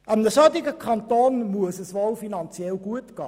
Einem solchen Kanton muss es wohl finanziell gut gehen.